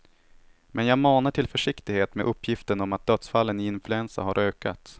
Men jag manar till försiktighet med uppgiften om att dödsfallen i influensa har ökat.